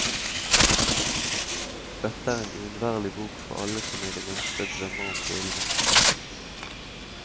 Dette er en uunnværlig bok for alle som i det minste drømmer om villmarka.